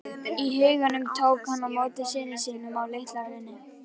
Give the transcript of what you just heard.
í huganum tók hann á móti syni sínum á LitlaHrauni.